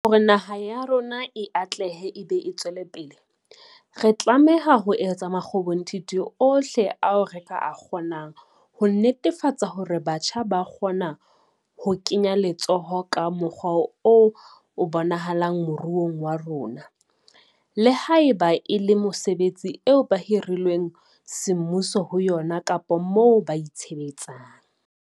Hore naha ya rona e atlehe e be e tswelepele, re tlameha ho etsa makgobonthithi ohle ao re ka a kgonang ho netefatsa hore batjha ba kgona ho kenya letsoho ka mokgwa o bonahalang moruong wa rona, le haeba e le mesebetsing eo ba hirilweng semmuso ho yona kapa moo ba itshebetsang.